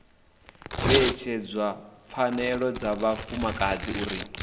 vheyedzedza pfanelo dza vhafumakadzi uri